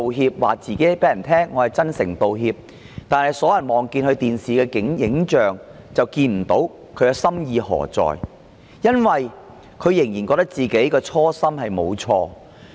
她對大家說她真誠道歉，但所有人觀看電視直播的人都看不到她真誠道歉，因為她仍然覺得自己的初心沒有錯。